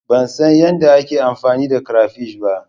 Ban san yadda ake amfani da crayfish ba.